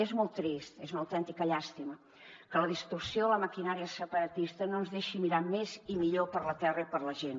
és molt trist és una autèntica llàstima que la distorsió de la maquinària separatista no ens deixi mirar més i millor per la terra i per la gent